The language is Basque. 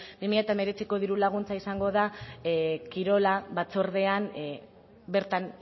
bi mila hemeretziko laguntza izango da kirol batzordean bertan